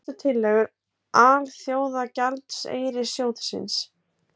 Helstu tillögur Alþjóðagjaldeyrissjóðsins